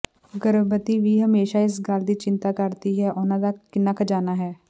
ਗਰਭਵਤੀ ਵੀ ਹਮੇਸ਼ਾਂ ਇਸ ਗੱਲ ਦੀ ਚਿੰਤਾ ਕਰਦੀ ਹੈ ਕਿ ਉਨ੍ਹਾਂ ਦਾ ਕਿੰਨਾ ਖਜ਼ਾਨਾ ਹੈ